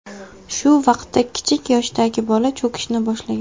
Shu vaqtda kichik yoshdagi bola cho‘kishni boshlagan.